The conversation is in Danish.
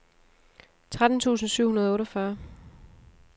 tretten tusind syv hundrede og otteogfyrre